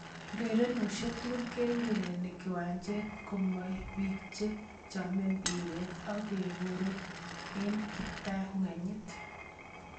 Urerenosiek tugul kokiurerene kiwanjet komomibiik che chome mbiret, akeboru eng kiptanganyit.